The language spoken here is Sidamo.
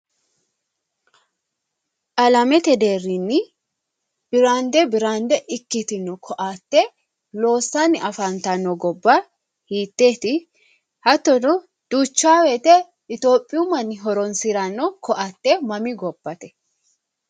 Alamete deerrinni biraande biraande ikkitino koatte loossanni afantanno gobbuwa hitteeti? hattono duucha woyte iitiyoophiyu manni horonsi'ranno koatte mami gobbate.